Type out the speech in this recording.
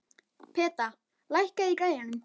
Peta, lækkaðu í græjunum.